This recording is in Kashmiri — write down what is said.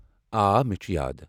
آ، مےٚ چھٗ یاد ۔